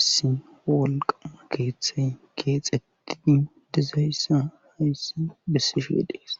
issi wolqama keeththay keexettidi dizayssa hayssi bissishe dees